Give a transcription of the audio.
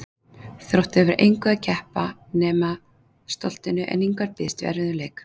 Þróttur hefur að engu að keppa nema stoltinu en Ingvar býst við erfiðum leik.